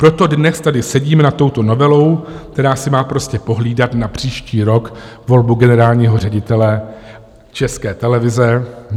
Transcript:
Proto dnes tady sedíme nad touto novelou, která si má prostě pohlídat na příští rok volbu generálního ředitele České televize.